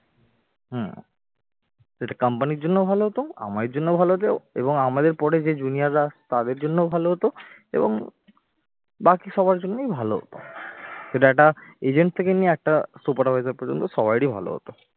হম সেটা company র জন্য ও ভালো হতো আমাদের জন্য ও ভালো হতো। এবং আমাদের পরে যে junior রা তাদের জন্য ও ভালো হতো এবং বাকি সবার জন্যই ভালো হতো। সেটা একটা agent থেকে নিয়ে একটা supervisor পর্যন্ত সবারই ভালো হতো।